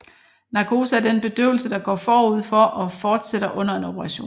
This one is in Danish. Narkose er den bedøvelse der går forud for og fortsætter under en operation